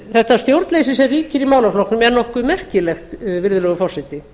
þetta stjórnleysi sem ríkir í málaflokknum er nokkuð merkilegt virðulegur forseti